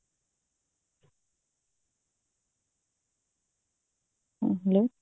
hello